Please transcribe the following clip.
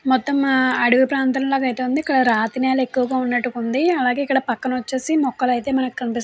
మొత్తం అడవి ప్రాంతం లాగా అయితే ఉంది. ఇక్కడ రాతి నేలలా ఎక్కువగా ఉన్నట్టు ఉంది. అలాగే ఇక్కడ పక్కన వచ్చేసి మొక్కలైతే మనకి కనిపిస్--